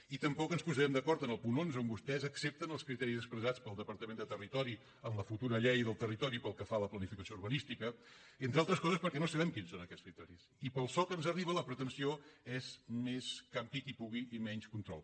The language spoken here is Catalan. i tampoc ens posarem d’acord en el punt onze on vostès accepten els criteris expressats pel departament de territori en la futura llei del territori pel que fa a la planificació urbanística entre altres coses perquè no sabem quins són aquests criteris i pel so que ens arriba la pretensió és més campi qui pugui i menys control